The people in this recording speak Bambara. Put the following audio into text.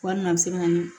Walima a bɛ se ka na ni